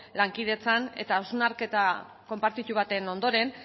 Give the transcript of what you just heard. lankidetzan eta hausnarketa konpartitu baten ondoren